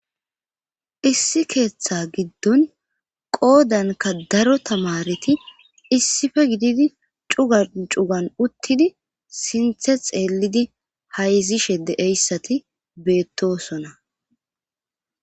Issi keeththa giddon qoodanka daro tamareti issife gididi cugan cugan uttidi sinthe xeelidi hayzishe deeyssati beettosona.